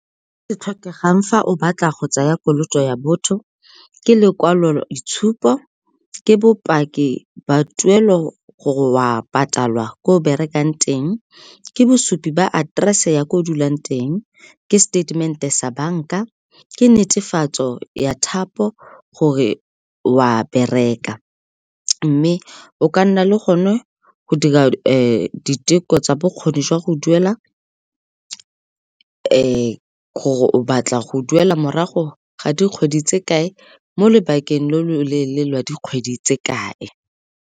Se tlhokegang fa o batla go tsaya kolota ya botho ke lekwalo itshupo, ke bopaki ba tuelo gore o a patalwa ko o berekang teng, ke bosupi ba aterese ya kwa o dulang teng, ke statement-e sa banka, ke netefatso ya thapo gore o a bereka. Mme o ka nna le gone go dira diteko tsa bokgoni jwa go duela gore o batla go duela morago ga dikgwedi tse kae mo lobakeng lo loleele lwa dikgwedi tse kae.